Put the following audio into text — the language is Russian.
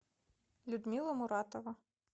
людмила муратова